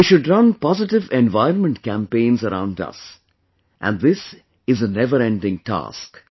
We should run positive environment campaigns around us and this is a never ending task